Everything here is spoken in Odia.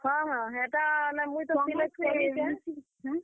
ହଁ ହଁ, ହେଟା ମୁଇଁ ତ ।